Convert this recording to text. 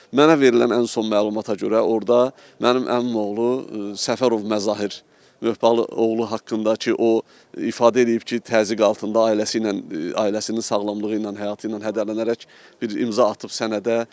Mənə verilən ən son məlumata görə orda mənim əmimoğlu Səfərov Məzahir Möhbalıoğlu haqqında ki, o ifadə eləyib ki, təzyiq altında ailəsi ilə, ailəsinin sağlamlığı ilə, həyatı ilə hədələnərək bir imza atıb sənədə.